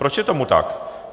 Proč je tomu tak?